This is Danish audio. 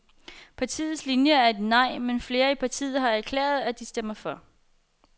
Partiets linie er et nej, men flere i partiet har erklæret, at de stemmer for.